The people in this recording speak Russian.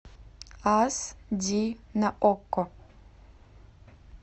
аш ди на окко